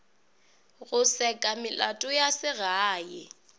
go seka melato ya segae